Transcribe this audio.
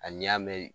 Hali n'i y'a mɛn